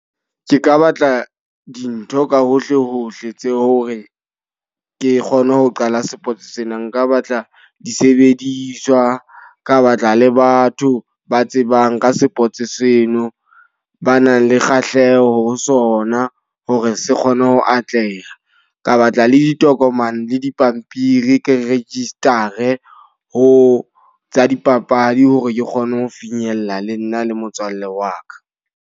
Ke ka batla dintho ka hohle hohle tse hore ke kgone ho qala sports sena. Nka batla disebediswa, ka batla le batho ba tsebang ka sports seno, ba nang le kgahleho ho sona hore se kgone ho atleha. Ka batla le ditokomane le dipampiri ke register-e ho tsa dipapadi hore ke kgone ho finyella lee nna le motswalle wa ka.